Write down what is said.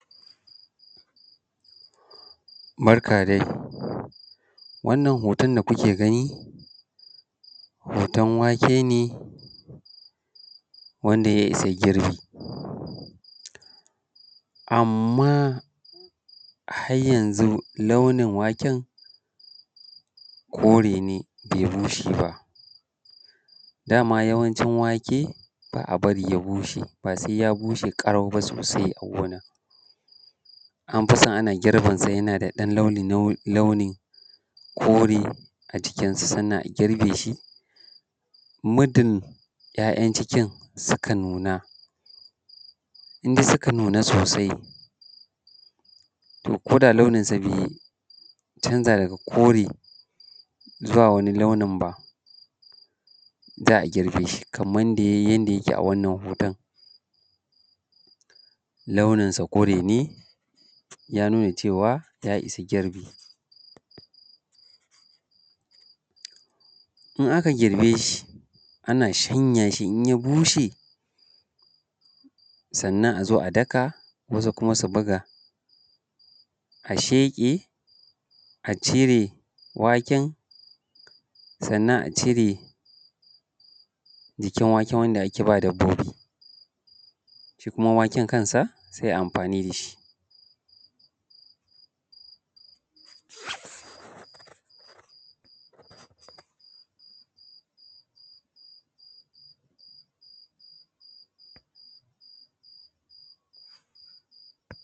Barka dai, wannan hoton da kuke gani hoton wake ne wanda ya isa girbi amma har yanzu launin waken kore ne bai bushe ba. Daman yawanci wake ba a bari ya bushe, ba sai ya bushe ƙarau ba sosai a gona. An fiso ana girbe sa yana da ɗan launi launin kore a cikinsa, sannan a girbe shi muddin ‘ya’yan cikin suka nuna, indai suka nuna sosai to koda launinsa bai canza daga kore zuwa wani launin ba za a girbe shi. Kaman yanda yayi yake a wannan hoton launin sa kore ne ya nuna cewa ya isa girbi. In aka girbe shi ana shanya shi, in ya bushe sannan a zo a daka, wasu kuma su buga, a sheƙe a cire wanken, sannan a cire jikin waken wanda ake ba dabbobi. Shi kuma waken kansa sai a yi amfani dashi.